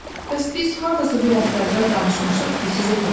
Bəs biz hardasa bir həftə əvvəl danışmışdıq ki, sizə gələcəyik.